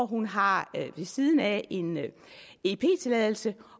hun har ved siden af en ep tilladelse